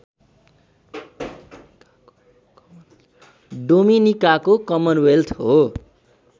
डोमिनिकाको Commonwealth हो